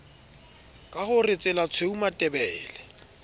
ka ho re tselatshweu matebele